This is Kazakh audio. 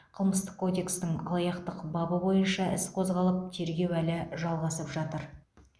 қылмыстық кодекстің алаяқтық бабы бойынша іс қозғалып тергеу әлі жалғасып жатыр